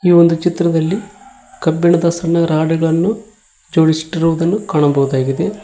ಈ ಒಂದು ಚಿತ್ರದಲ್ಲಿ ಕಬ್ಬಿಣದ ಸಣ್ಣ ರಾಡುಗಳನ್ನು ಚೋಡಿಸಿಟ್ಟಿರುವುದನ್ನು ಕಾಣಬಹುದಾಗಿದೆ.